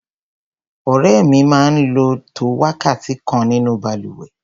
Ọ̀rẹ́ mi máa ń lò tó wákàtí kan nínú balùwẹ̀.